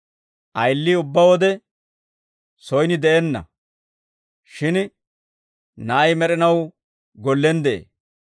Ayilii ubbaa wode soyin de'enna; shin na'ay med'inaw gollen de'ee.